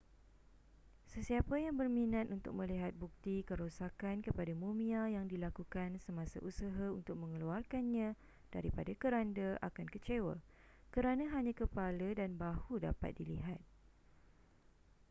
sesiapa yang berminat untuk melihat bukti kerosakan kepada mumia yang dilakukan semasa usaha untuk mengeluarkannya daripada keranda akan kecewa kerana hanya kepala dan bahu dapat dilihat